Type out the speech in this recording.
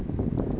kusho kutsi ngabe